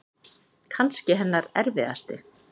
Kannski hennar erfiðasti.